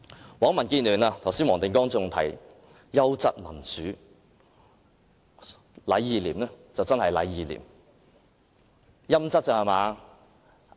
難為民建聯的黃定光議員剛才還提到"優質"民主，"禮義廉"果真是"禮義廉"，是"陰質"罷了。